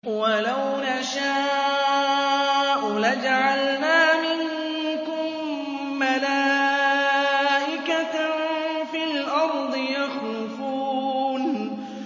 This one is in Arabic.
وَلَوْ نَشَاءُ لَجَعَلْنَا مِنكُم مَّلَائِكَةً فِي الْأَرْضِ يَخْلُفُونَ